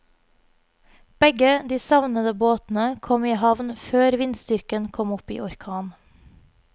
Begge de savnede båtene kom i havn før vindstyrken kom opp i orkan.